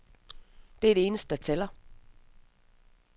Det er det eneste, der tæller.